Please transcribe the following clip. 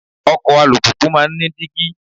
Ọkọ̀ alùpùpù máa ń ní dígí.